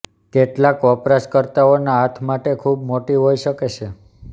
કેટલાક વપરાશકર્તાઓના હાથ માટે ખૂબ મોટી હોઈ શકે છે